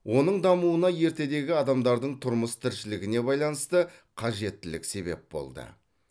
оның дамуына ертедегі адамдардың тұрмыс тіршілігіне байланысты қажеттілік себеп болды